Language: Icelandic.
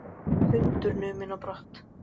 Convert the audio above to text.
Hundur numinn á brott